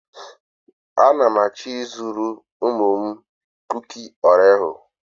A na m achọ ịzụrụ ụmụ m kuki oreo.